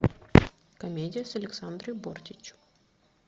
комедия с александрой бортич